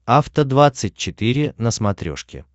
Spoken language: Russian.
афта двадцать четыре на смотрешке